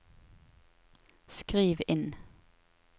skriv inn